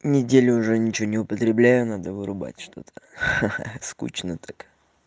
неделю уже ничего не употребляю надо вырубать что-то ха-ха скучно так